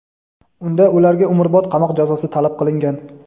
Unda ularga umrbod qamoq jazosi talab qilingan.